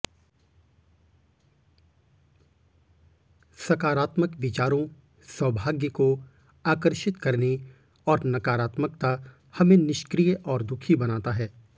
सकारात्मक विचारों सौभाग्य को आकर्षित करने और नकारात्मकता हमें निष्क्रिय और दुखी बनाता है